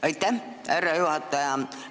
Aitäh, härra juhataja!